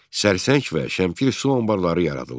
Sərsəng və Şəmkir su anbarları yaradıldı.